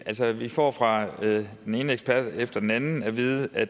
vi får fra den ene ekspert efter den anden at vide at